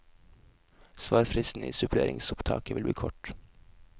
Svarfristen i suppleringsopptaket vil bli kort.